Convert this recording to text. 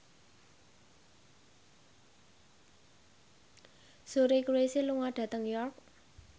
Suri Cruise lunga dhateng York